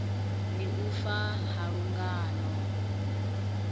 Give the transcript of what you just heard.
ndi u fa ha lungano